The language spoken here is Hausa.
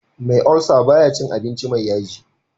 Me ulcer baya cin abinci me yaji